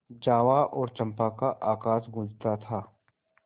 जावा और चंपा का आकाश गँूजता था